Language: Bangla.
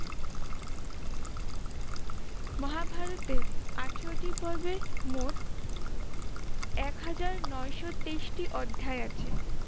মহাভারতে আঠেরোটি পর্বে মোট এক হাজার নয়শো তেইশটি অধ্যায় আছে।